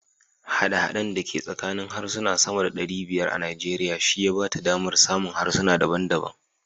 Haɗe-haɗen da ke tsakanin harsuna sama da ɗari bayar a Najeriya shi ya ba ta damar samun harsuna daban daban.